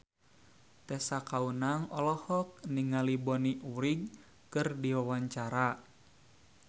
Tessa Kaunang olohok ningali Bonnie Wright keur diwawancara